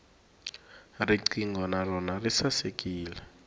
riqingho na rona ri sasekile